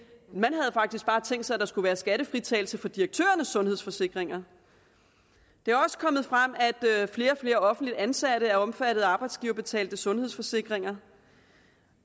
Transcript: man havde faktisk bare tænkt sig at der skulle være skattefritagelse for direktørernes sundhedsforsikringer det er også kommet frem at flere og flere offentligt ansatte er omfattet af arbejdsgiverbetalte sundhedsforsikringer